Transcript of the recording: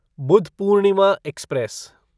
Budh Purnima express